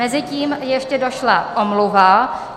Mezitím ještě došla omluva.